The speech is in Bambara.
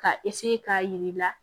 Ka k'a jir'i la